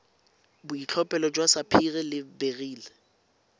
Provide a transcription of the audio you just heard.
boitlhophelo jwa sapphire le beryl